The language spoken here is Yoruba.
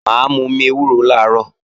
Mà á momi ewúro làárọ̀